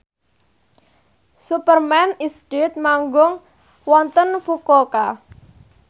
Superman is Dead manggung wonten Fukuoka